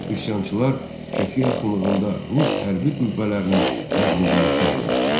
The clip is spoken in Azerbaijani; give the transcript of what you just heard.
Üsyançılar Şəki yaxınlığında rus hərbi qüvvələrini məğlubiyyətə uğratdılar.